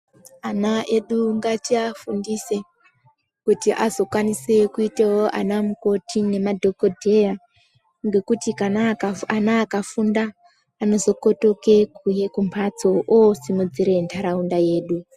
Ana edu ngatiafundise kuti azokwanise kuitewo anamukoti nemadhokodheya ngekuti ana akafunda anozookotoke kumhatso okusimudzira nharaunda yedu.